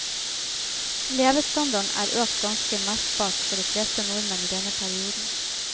Levestandarden er økt ganske merkbart for de fleste nordmenn i denne perioden.